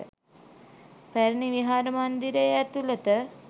පැරණි විහාර මන්දිරයේ ඇතුලත